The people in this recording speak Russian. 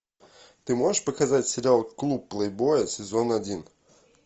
ты можешь показать сериал клуб плейбоя сезон один